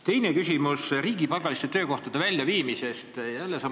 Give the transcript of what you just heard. Teine küsimus on riigipalgaliste töökohtade väljaviimise kohta.